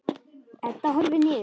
Edda horfir niður.